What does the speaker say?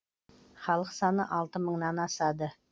халық саны алты мыңнан асады